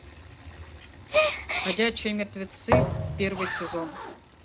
ходячие мертвецы первый сезон